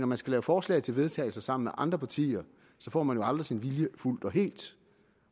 man skal lave forslag til vedtagelse sammen med andre partier får man jo aldrig sin vilje fuldt og helt